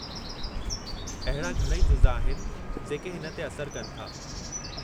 अहिड़ा घणई जुज़ा आहिनि जेके हिन ते असरु कनि था।